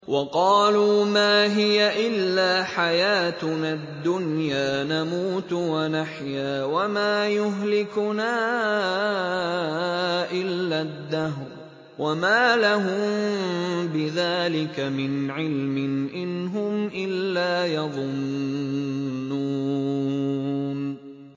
وَقَالُوا مَا هِيَ إِلَّا حَيَاتُنَا الدُّنْيَا نَمُوتُ وَنَحْيَا وَمَا يُهْلِكُنَا إِلَّا الدَّهْرُ ۚ وَمَا لَهُم بِذَٰلِكَ مِنْ عِلْمٍ ۖ إِنْ هُمْ إِلَّا يَظُنُّونَ